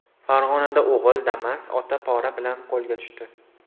Farg‘onada o‘g‘il Damas, ota pora bilan qo‘lga tushdi.